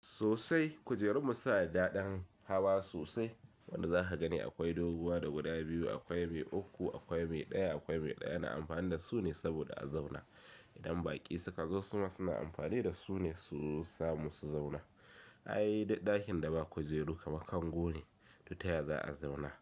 Sosai kujerun mu suna da daɗin hawa sosai, wanda za ka gani akwai doguwa da guda biyu, akwai mai uku, akwai mai ɗaya, akwai mai ɗaya. Ana amfani da su ne saboda a zauna. Idan baƙi suka zo su ma suna amfani da su ne, su samu su zauna. Ai ɗakin da ba kujeru kamar kango ne, to taya za a zauna?